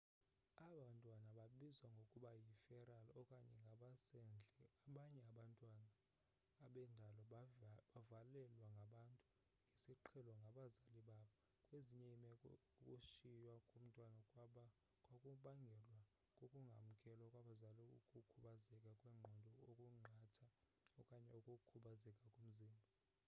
aba bantwana babizwa ngokuba yi feral okanye ngabasendle. abanye abantwana bendalo bavalelwe ngabantu ngesiqhelo ngabazali babo; kwezinye iimeko ukushiywa komntwana kwakubangelwa kukungamkelwa kwabazali ukukhubazeka kwengqondo okuqatha okanye ukukhubazeka komzimba